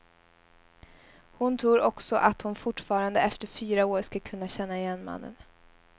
Hon tror också att hon fortfarande efter fyra år ska kunna känna igen mannen.